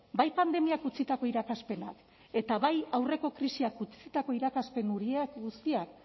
bai pandemiak utzitako irakaspena eta bai aurreko krisiak utzitako irakaspen horiek guztiak